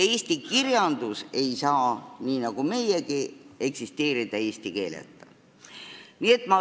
Eesti kirjandus ei saa – nii nagu meiegi – eksisteerida eesti keeleta.